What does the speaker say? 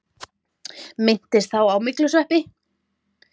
Minntist þá á myglusveppi.